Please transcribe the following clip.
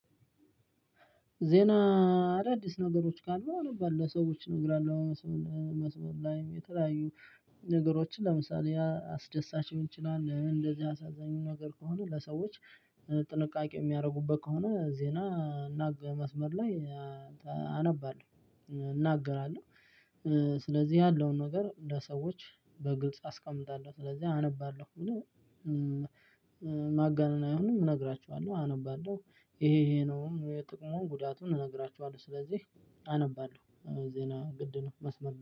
ዜና አዳዲስ ነገሮች ካሉ አነባለው ለሰዎች እነግራለሁ። መስመር ላይ የተለያዩ ነገሮችን ለምሳሌ አስደሳች ሊሆን ይችላል እንደዚህ አሳዛኙ ነገር ከሆነ ለሰዎች። ጥንቃቄ የሚያደርጉበት ከሆነ ዜና እናገራለው መስመር ላይ። አነባለሁ እናገራለሁ። ስለዚህ ያለውን ነገር ለሰዎች በግልጽ አስቀምጣለሁ ስለዚህ አነባለሁ። ማጋነን አይሆንም እነግራችኋለሁ አነባለሁ ይሄ ይሄ ነው። ጥቅሙን ጉዳቱን እንነግራቸዋለው ስለዚህ አነባለሁ። ዜና ግድ ነው መስመር